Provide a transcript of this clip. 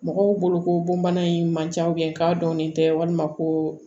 Mɔgɔw boloko bɔnbana in man ca k'a dɔnnen tɛ walima ko